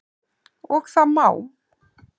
Og það má.